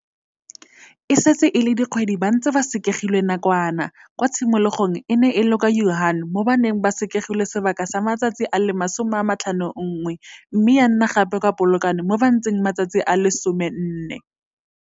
E setse e le dikgwedi ba ntse ba sekegilwe nakwana, kwa tshimologong e ne e le kwa Wuhan mo ba neng ba sekegilwe sebaka sa matsatsi a le 51 mme ya nna gape kwa Polokwane mo ba ntseng matsatsi a le 14.